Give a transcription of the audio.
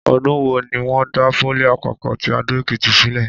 Ọdún wo ni wọ́n dá pólì àpapọ̀ ti Adó-Èkìtì sílẹ̀?